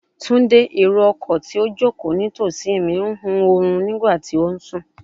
Tunde, ero-ọkọ ti o joko nitosi mi n hun orun nigba ti o sùn